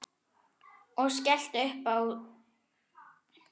Og skellti upp úr.